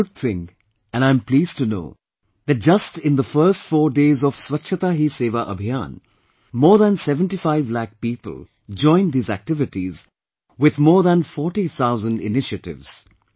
It is a good thing and I am pleased to know that just in the first four days of "Swachhata Hi Sewa Abhiyan" more than 75 lakh people joined these activities with more than 40 thousand initiatives